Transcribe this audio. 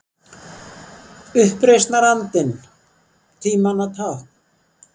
Uppreisnarandinn- tímanna tákn?